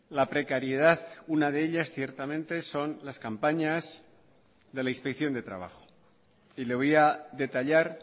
la precariedad una de ellas ciertamente son las campañas de la inspección de trabajo y le voy a detallar